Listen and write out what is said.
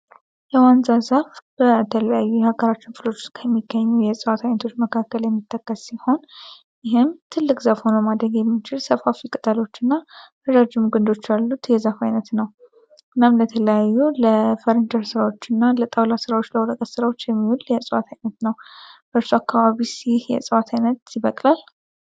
የዋንዛ ዛፍ በተለያየ የሀገራችን ክፍሎች ዉስጥ ከሚገኙ የእጽዋት አይነቶች መካከል የሚተከል ሲሆን ይኸም ትልቅ ዛፍ ሆኖ ማደግ የሚችል ሰፋፊ ቅጠሎች እና ረዥም ግንዶች ያሉት የዛፍ አይነት ነዉ። እናም ለተለያዩ ለፈርኒቸር ስራወች እናለጣዉላ ስራወች ለወረቀት ስራወች የሚዉል የእጽዋት አይነት ነዉ። በእርሻ አካባቢ ይህ የእጽዋት አይነት ይበቅላል።